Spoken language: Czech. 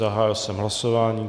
Zahájil jsem hlasování.